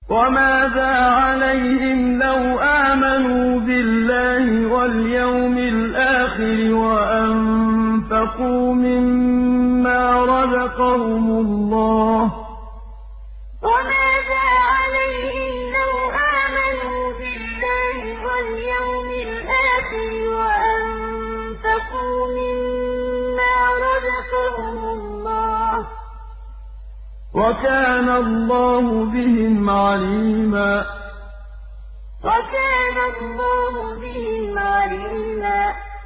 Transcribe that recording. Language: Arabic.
وَمَاذَا عَلَيْهِمْ لَوْ آمَنُوا بِاللَّهِ وَالْيَوْمِ الْآخِرِ وَأَنفَقُوا مِمَّا رَزَقَهُمُ اللَّهُ ۚ وَكَانَ اللَّهُ بِهِمْ عَلِيمًا وَمَاذَا عَلَيْهِمْ لَوْ آمَنُوا بِاللَّهِ وَالْيَوْمِ الْآخِرِ وَأَنفَقُوا مِمَّا رَزَقَهُمُ اللَّهُ ۚ وَكَانَ اللَّهُ بِهِمْ عَلِيمًا